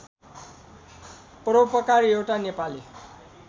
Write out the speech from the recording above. परोपकार एउटा नेपाली